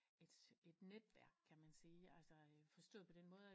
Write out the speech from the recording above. Et netværk kan man sige altså forstået på den måde